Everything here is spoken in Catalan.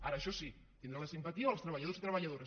ara això sí tindrà la simpatia dels treballadors i treballadores